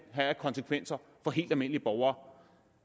af konsekvenser for helt almindelige borgere